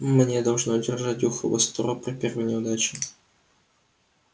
мне должно держать ухо востро при первой неудаче